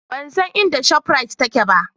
Ban san inda Shop Rite take ba